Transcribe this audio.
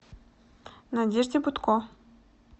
надежде бутко